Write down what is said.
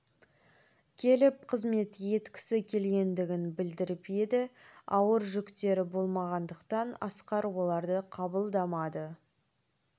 келіп қызмет еткісі келгендігін білдіріп еді ауыр жүктері болмағандықтан асқар оларды қабылдамады